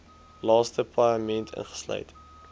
laaste paaiement insluit